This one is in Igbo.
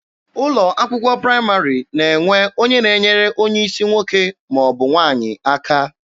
Ụlọ akwụkwọ praịmarị na-enwe onye na-enyere onye isi nwoke ma ọ bụ nwaanyị aka.